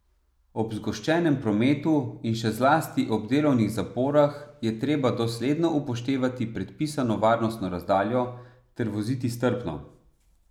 Ob zgoščenem prometu in še zlasti ob delovnih zaporah je treba dosledno upoštevati predpisano varnostno razdaljo ter voziti strpno.